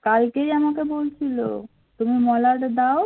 কালকেই আমাকে বলছিল তুমি মলাট দাও